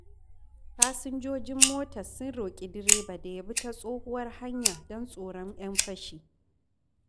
Fasinjojin motar sun roƙi direba da ya bi ta tsohuwar hanya don tsoron 'yan fashi.